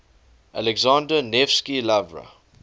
alexander nevsky lavra